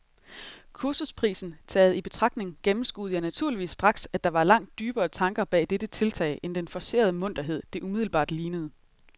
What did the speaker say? Kursusprisen taget i betragtning gennemskuede jeg naturligvis straks, at der var langt dybere tanker bag dette tiltag end den forcerede munterhed, det umiddelbart lignede.